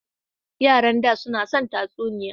Yaran da su na son tatsuniya.